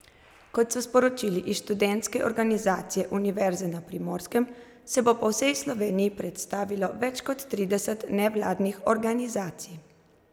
Kot so sporočili iz Študentske organizacije Univerze na Primorskem, se bo po vsej Sloveniji predstavilo več kot trideset nevladnih organizacij.